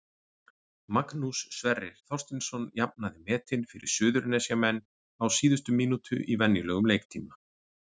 Magnús Sverrir Þorsteinsson jafnaði metin fyrir Suðurnesjamenn á síðustu mínútu í venjulegum leiktíma.